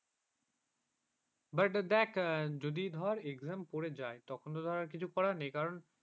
but যদি ধর exam পড়ে যায় যদি তো exam পড়ে যায় তখন তো ধর কিছু করার নেই